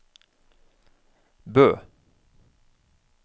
Bø